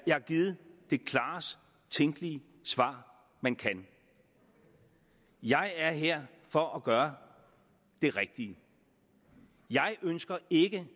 jeg har givet det klarest tænkelige svar man kan jeg er her for at gøre det rigtige jeg ønsker ikke